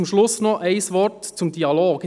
Zum Schluss noch ein Wort zum Dialog: